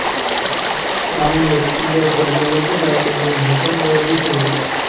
आमनेर किल्ल्याच्या जवळचे गाव म्हणजे भोकरबर्डी हे होय